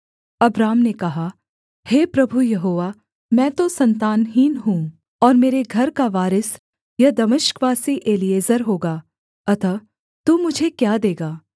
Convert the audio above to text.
Abram ने कहा हे प्रभु यहोवा मैं तो सन्तानहीन हूँ और मेरे घर का वारिस यह दमिश्कवासी एलीएजेर होगा अतः तू मुझे क्या देगा